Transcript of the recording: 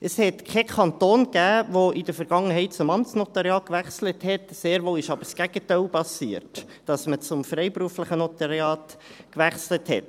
Es gab in der Vergangenheit keinen Kanton, der zum Amtsnotariat gewechselt hat, sehr wohl aber ist das Gegenteil passiert: dass man zum freiberuflichen Notariat gewechselt hat.